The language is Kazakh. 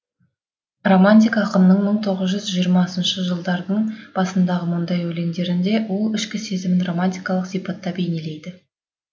романтик ақынның мың тоғыз жүз жиырмасыншы жылдардың басындағы мұндай өлеңдерінде ол ішкі сезімін романтикалық сипатта бейнелейді